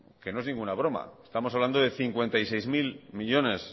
que no es ninguna broma estamos hablando de cincuenta y seis mil millónes